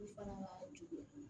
fana to